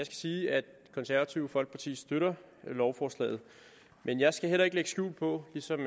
sige at det konservative folkeparti støtter lovforslaget men jeg skal heller ikke lægge skjul på ligesom